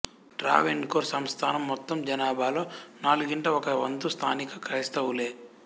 ట్రావెన్కోర్ సంస్థానం మొత్తం జనాభాలో నాలుగింట ఒక వంతు స్థానిక క్రైస్తవులే